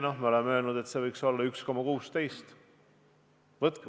Me oleme öelnud, et see võiks olla 1,16%.